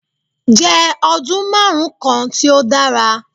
Je odun marun kan ti o dara